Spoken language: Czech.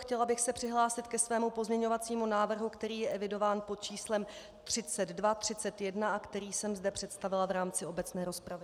Chtěla bych se přihlásit ke svému pozměňovacímu návrhu, který je evidován pod číslem 3231 a který jsem zde představila v rámci obecné rozpravy.